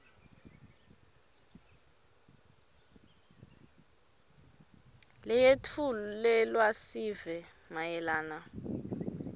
leyetfulelwa sive mayelana